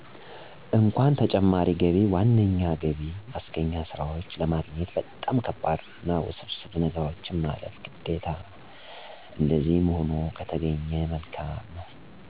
እንኩአን ተጨማሪ ገቢ ዋነኛ ነገቢ ማስገኛ ስራዎች ለማግኘት በጣም ከባድ አና ውስብስብ ነገሮችን ማለፍ ግዴታ ነው እንደዚህም ሆ ከተገኘ መልካም ነው